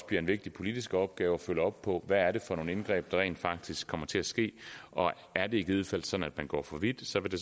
bliver en vigtig politisk opgave følge op på hvad det er for nogle indgreb der rent faktisk kommer til at ske og er det i givet fald sådan at man går for vidt så vil det